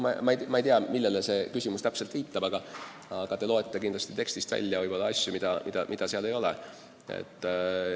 Ma ei tea, millele teie küsimus täpselt sihitud oli, aga te loete võib-olla tekstist välja asju, mida seal ei ole.